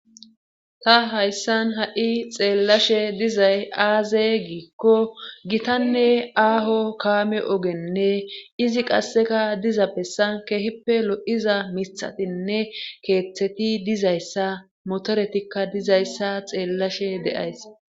Ta hayssan ha'i xeellashe dizay aazey giikko gitanne aaho kaame ogenne izi qasseka dizappessan kehippe lo'iza mithatinne keeththeti dizayssa motoretikka dizayssa xeellashe de'ays.